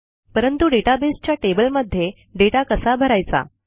परंतु databaseच्या टेबलमध्ये दाता कसा भरायचा